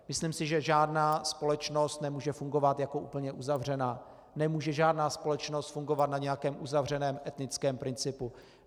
Myslím si, že žádná společnost nemůže fungovat jako úplně uzavřená, nemůže žádná společnost fungovat na nějakém uzavřeném etnickém principu.